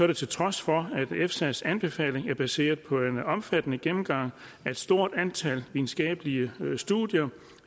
det til trods for at efsas anbefaling er baseret på en omfattende gennemgang af et stort antal videnskabelige studier